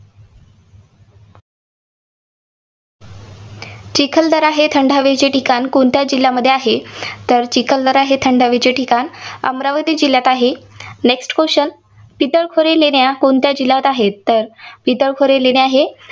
चिखलदरा हे थंड हवेचे ठिकाण कोणत्या जिल्ह्यामध्ये आहे? तर चिखलदार हे थंड हवेचे ठिकाण अमरावती जिल्ह्यात आहे. Next question पितळखोरी लेण्या कोणत्या जिल्ह्यात आहेत? पितळखोरी लेण्या हे